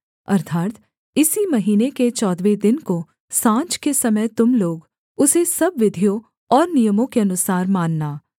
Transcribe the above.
अर्थात् इसी महीने के चौदहवें दिन को साँझ के समय तुम लोग उसे सब विधियों और नियमों के अनुसार मानना